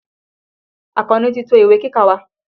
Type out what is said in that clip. Àkànní ti to ìwé kíkà wa.